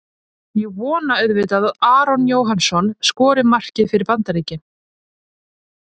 Ég vona auðvitað að Aron Jóhannsson skori markið fyrir Bandaríkin.